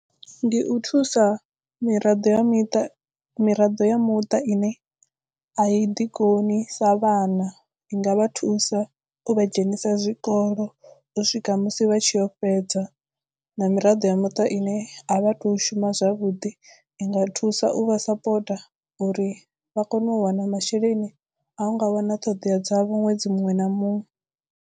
Ndi u thusa miraḓo ya miṱa miraḓo ya muṱa ine a i ḓikoni sa vhana i nga vha thusa u vha dzhenisa zwikolo u swika musi vha tshiyo u fhedza na miraḓo ya muṱa ine a vha to shuma zwavhuḓi i nga thusa u vha sapota uri vha kone u wana masheleni a u nga wana ṱhoḓea dza vho ṅwedzi muṅwe na muṅwe.